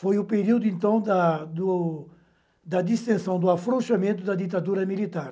Foi o período, então, da do da distensão, do afrouxamento da ditadura militar.